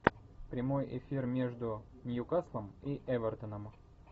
прямой эфир между ньюкаслом и эвертоном